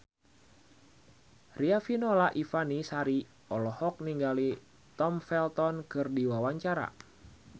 Riafinola Ifani Sari olohok ningali Tom Felton keur diwawancara